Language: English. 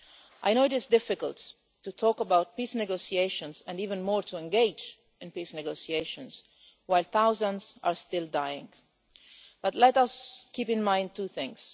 I know it is difficult to talk about peace negotiations, and even more to engage in peace negotiations, while thousands are still dying, but let us keep in mind two things.